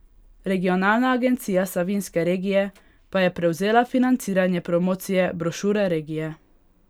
Regionalna agencija Savinjske regije pa je prevzela financiranje promocije brošure regije.